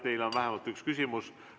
Teile on vähemalt üks küsimus.